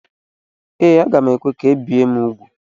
Ee, aga m ekwe ka ebie ụmụ m úgwù.